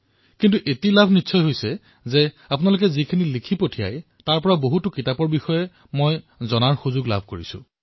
কিন্তু আপোনালোকৰ আলোচনাৰ ভিত্তিত মই বিভিন্ন বিষয়ৰ গ্ৰন্থৰ বিষয়ে জানিবলৈ সক্ষম হৈছো